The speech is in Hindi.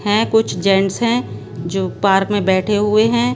हैं कुछ जेंट्स हैं जो पार्क में बैठे हुए हैं।